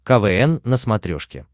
квн на смотрешке